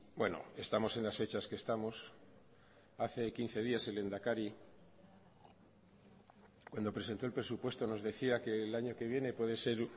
bueno estamos en las fechas que estamos hace quince días el lehendakari cuando presentó el presupuesto nos decía que el año que viene puede ser